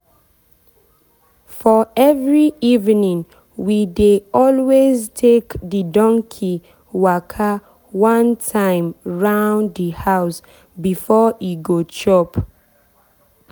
for every eveningwe dey always take the donkey waka one time round the house before e go chop.